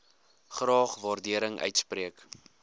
graag waardering uitspreek